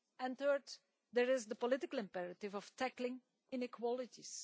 Third, there is the political imperative of tackling inequalities.